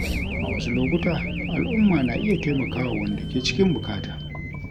A wasu lokuta, al’umma na iya taimaka wa wanda ke cikin bukata.